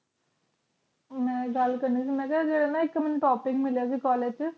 ਉਹਨਾਂ ਇਕ ਗੱਲ ਕਰਨੀ ਸੀ ਮੈਨੂੰ ਨਾ ਇੱਕ topic ਮਿਲਿਆ ਕਾਲਜ ਤੋਂ college ਦੇ ਧੁਨੰਤਰ ਦਾ ਧਿਆਨ ਧਰਨ ਦੀਆਂ